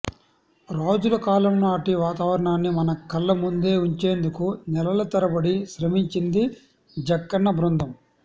రాజుల కాలం నాటి వాతావరణాన్ని మన కళ్ల ముందు ఉంచేందుకు నెలల తరబడి శ్రమించింది జక్కన్న బృందం